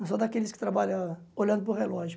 Não sou daqueles que trabalham olhando para o relógio.